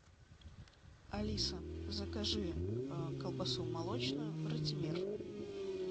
алиса закажи колбасу молочную ратимир